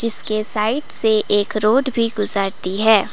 इसके साइड से एक रोड भी गुजरती है।